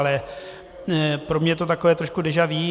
Ale pro mě je to takové trošku déja vu.